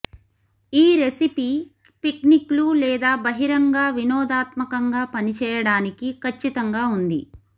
ఈ రెసిపీ పిక్నిక్లు లేదా బహిరంగ వినోదాత్మకంగా పనిచేయడానికి ఖచ్చితంగా ఉంది